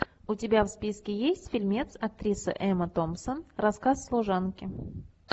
у тебя в списке есть фильмец актриса эмма томпсон рассказ служанки